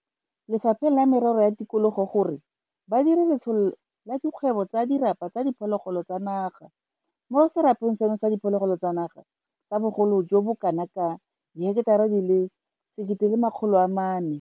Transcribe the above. Le fapheng la Merero ya Tikologo gore ba dire letsholo la dikgwebo tsa dirapa tsa diphologolo tsa naga mo serapeng seno sa diphologolo tsa naga sa bogolo jo bo kanaka diheketara di le 1 400.